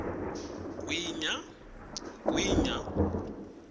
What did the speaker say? gwinya